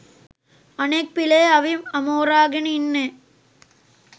අනෙක් පිලේ අවි අමෝරාගෙන ඉන්නේ